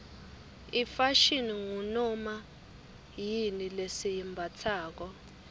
ifashini ngunoma yini lesiyimbatsako